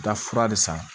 Da fura de san